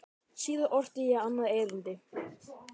Síðar orti ég annað erindi.